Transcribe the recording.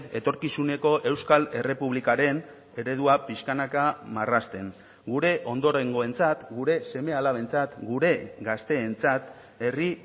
etorkizuneko euskal errepublikaren eredua pixkanaka marrazten gure ondorengoentzat gure seme alabentzat gure gazteentzat herri